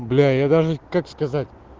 бля я даже как сказать